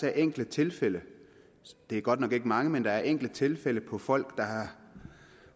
er enkelte tilfælde det er godt nok ikke mange men der er enkelte tilfælde hvor folk